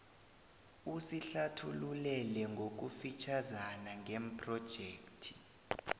usihlathululele ngokufitjhazana ngephrojekhthi